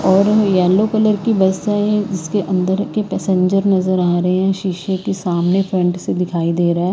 और yellow colour की bus है इसके अंदर के पैसेंजर नजर आ रहे हैं शीशे के सामने फ्रंट से दिखाई दे रहा है।